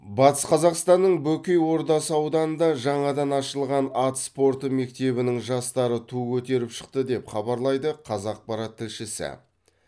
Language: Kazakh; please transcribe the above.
батыс қазақстанның бөкей ордасы ауданында жаңадан ашылған ат спорты мектебінің жастары ту көтеріп шықты деп хабарлайды қазақпарат тілшісі